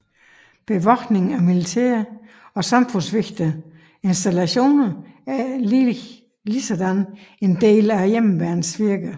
Bevogtning af militære og samfundsvigtige installationer er ligeledes en del af Hjemmeværnets virke